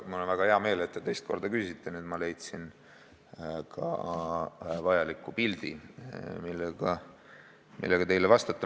Mul on väga hea meel, et te teist korda küsisite, nüüd ma leidsin ka pildi, mille abil teile vastata.